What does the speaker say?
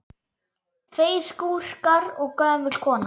Tveir skúrkar og gömul kona